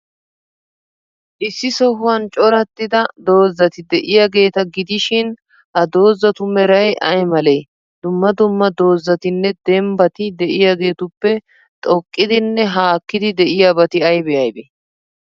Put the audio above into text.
Issi sohuwan corattida dozati de'iyaageeta gidishin, ha dozatu meray ay malee? Dumma dumma dozatinne dembbati de'iyaageetuppe xoqqidinne haakkidi de'iyabati aybee aybee?